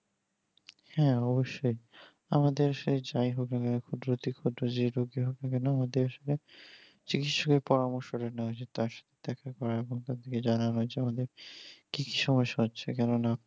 হ্যাঁ অবশ্যই আমাদের সে যাই হোক কেন এখন যে রোগী হোক না কেন আমাদের আসলে চিকিৎসকের পরামর্শটা নেওয়া উচিত তার সাথে দেখা করা এবং তাদেরকে জানানো যেমন কি কি সমস্যা হচ্ছে কেননা